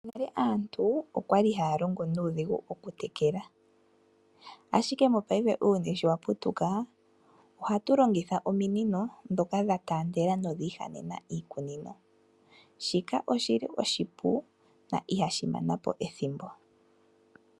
Nale aantu okwali haya longo nuudhigu okutekela, ashike mopayife uuyuni showaputuka ohatu longitha ominino dhoka dhataandela nodhiihanena iikunino. Shika oshili oshipu na ihashi manapo ethimbo.